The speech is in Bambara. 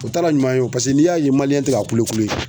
O t'a ra ɲuman ye paseke n'i y'a ye tɛ ka kule kule